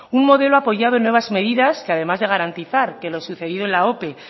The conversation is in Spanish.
un modelo apoyado en nuevas medidas que además de garantizar que lo sucedido en la ope